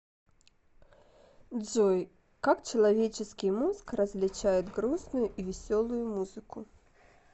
джой как человеческий мозг различает грустную и веселую музыку